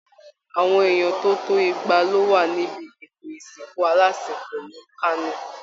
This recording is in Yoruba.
Àwọn èèyàn tó tó igba ló wà níbi ètò ìsìnkù alásinpọ̀ ní Kano